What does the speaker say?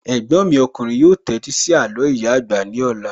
Ẹ̀gbọ́n mi ọkùnrin yóò tẹ́tí sí àló ìyá àgbà ní ọ̀la